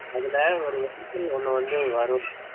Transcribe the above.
அதுல ஒன்னு வந்து வரும்